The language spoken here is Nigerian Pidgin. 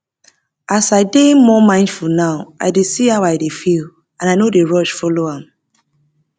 as i dey more mindful now i dey see how i dey feel and i no dey rush follow am